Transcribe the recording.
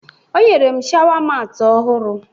O nyere m shawa maatị ọhụrụ